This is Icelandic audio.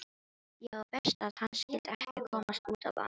Já, verst að hann skyldi ekki komast út á land.